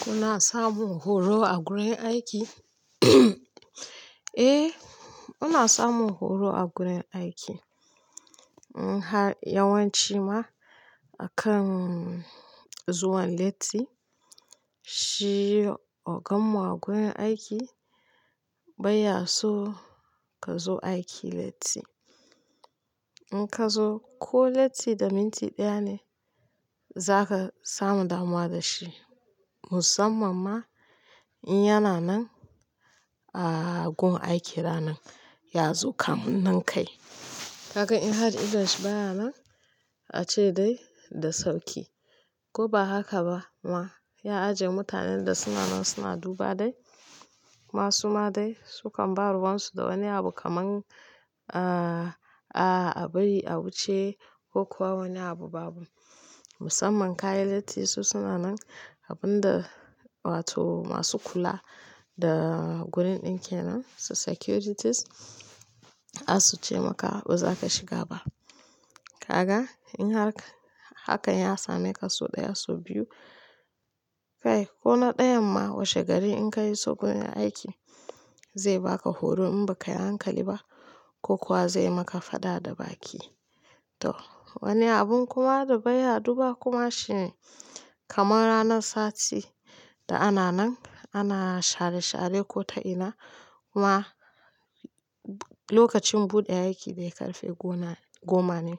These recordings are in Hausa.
Kuna samun horo a wurin aiki? Eh, muna samun horo a wurin aiki. In har yawanci ma akan zuwan latti, shi oganmu a wurin aiki bai yaso ka zo aiki latti. In ka zo ko latti da minti ɗaya ne, zaka samu damuwa da shi. Musamman ma in yana nan a gun aiki ranan, ya zo kamun nan kai. Kaga in har idonshi baya nan, ace dai da sauki. Ko ba haka ba ma, ya aje mutanen da suna nan suna duba dai. Ma su ma dai sukan ba ruwansu da wani abu kaman a-a-abayi, a wuce ko kuwa wani abu babu. Musamman ka yi latti su suna nan, abun da wato masu kula da wurin ɗin kenan, su securities asu ce maka ba zaka shiga ba. Kaga in har ka, hakan ya same ka sau ɗaya, sau biyu, kai ko na ɗayan ma washe gari in ka iso wurin aiki. Zai ba ka horo in ba ka yi hankali ba ko kuwa zai maka fada da baki. To wani abun kuma da baya duba kuma shine, kaman ranar sati da ana nan, ana share-share ko ta ina, kuma lokacin buɗe aiki bai karfe goma, goma ne.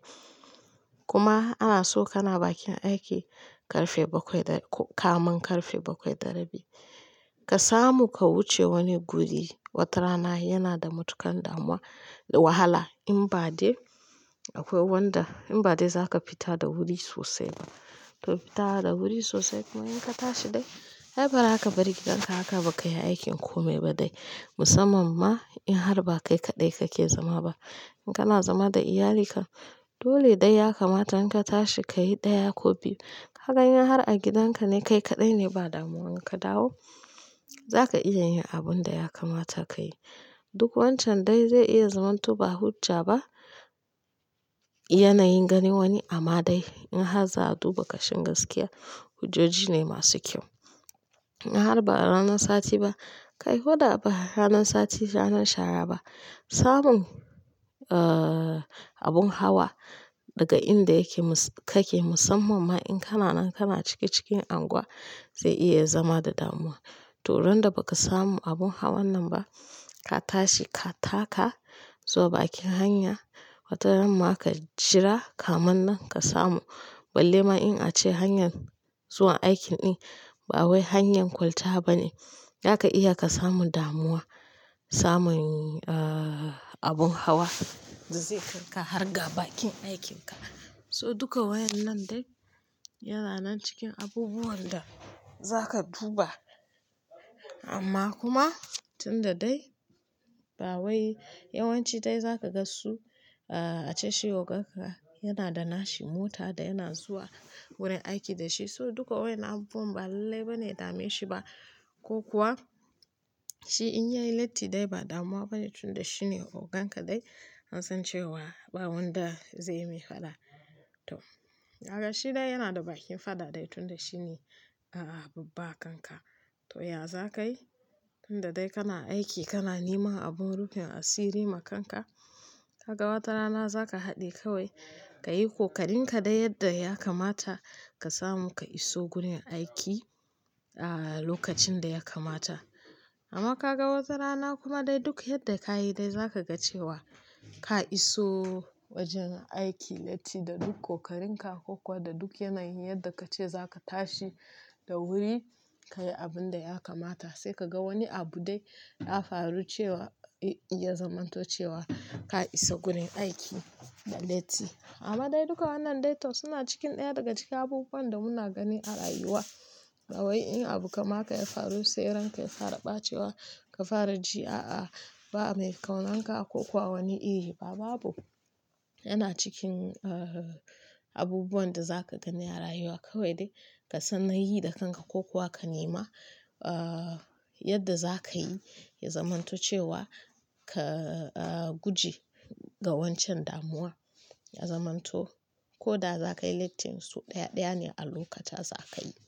Kuma ana so kana bakin aiki karfe bakwai da ko kamun karfe bakwai da rabi. Ka samu ka wuce wani guri, watarana yana da matukan damuwa da wahala in ba dai akwai wanda, in ba dai za ka fita da wuri sosai ba. Toh fita da wuri sosai kuma in ka tashi dai ai ba zaka bari gidan ka haka bakayi aikin komi badai. Musamman ma in har ba kai kaɗai kake zama ba. In kana zama da iyalika, dole dai ya kamata in ka tashi ka yi ɗaya ko biyu. Kaga in har a gidanka ne kai kadai ba damuwa in ka dawo. Za ka iya yin abun da ya kamata ka yi. Duk wancan dai zai iya zamanto ba hujja ba. Yanayin gani wani amma dai in har za a duba ƙashin gaskiya, hujjoji ne masu kyau. In har ba ranar sati ba, kai ko da ba ranar sati, ranar shara ba, samun a-a-abun hawa daga inda yake mu-- kake musamman ma in kana nan kana cike-ciken anguwa zai iya zama da damuwa. Toh ran da ba ka samu abun hawan nan ba, ka tashi ka taka zuwa bakin hanya, wata rana ma ka jira kamin nan ka samu. Balle ma in ace hanya zuwa aiki, din bawai hanya kwalta bane. Zaka iya ka samu damuwa, samun a-a-abun hawa da zai kar ka har ga bakin aikinka. So duka wayan nan dai yana nan cikin abubuwan da za ka duba. Amma kuma tun da dai ba wai yawanci dai za ka ga su a ce shi ogan ka yana da nashi mota da yana zuwa wurin aiki da shi. So duka wayan nan abubuwan ba lalle bane ya dame shi ba ko kuwa shi in yayi latti dai ba damuwa bane tun da shi ne ogan ka dai. An san cewa ba wanda zai yi mai fada. To, kaga shi dai yana da bakin fada dai tun da shi ne a-a-babba a kanka. To, ya za ka yi? Tun da dai kana aiki kana neman abun rufin asiri ma kanka. Kaga wata rana za ka haɗe kawai ka yi kokarinƙa dai yadda ya kamata ka samu ka iso wurin aiki a-a-a lokacin da ya kamata. Amma ka ga wata rana kuma dai duk yadda ka yi dai za ka ga cewa ka iso wajen aiki latti da duk kokarinƙa ko kuwa da duk yanayin yadda ka ce za ka tashi da wuri, ka yi abun da ya kamata sai ka ga wani abu dai ya faru cewa ya zamanto cewa ka isa wurin aiki da latti. Amma dai duka wannan dai to suna cikin ɗaya daga cikin abubuwan da muna gani a rayuwa. Ba wai in abu kaman haka ya faru sai ran ka ya fara ɓacewa, ka fara ji a-a-ba mai kaunanka ko ko awani iri ba babu. Yana cikin a-a-abubuwan da za ka gani a rayuwa kawai dai ka san nayi da kanka ko kuwa ka nema a-a-yadda za ka yi ya zamanto cewa ka a-a-guje ga wancan damuwa, ya zamanto ko da za ka yi latti so ɗaya-ɗaya ne a lokata za ka yi.